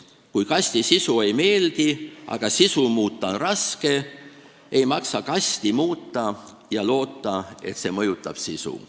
Kui kasti sisu ei meeldi, aga sisu muuta on raske, ei maksa kasti muuta ja loota, et see mõjutab sisu.